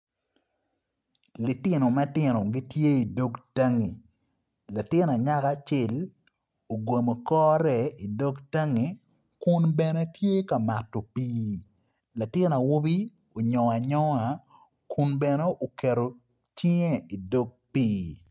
Litino matino gitye idog tanggi latin anyaka acel ogomo kore idog tanggi Kun bene tye mato pii latin awobi anyongo anyonga Kun bene uketo cinge idog pii